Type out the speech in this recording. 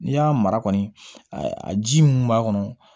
N'i y'a mara kɔni a ji mun b'a kɔnɔ